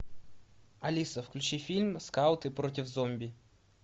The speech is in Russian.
алиса включи фильм скауты против зомби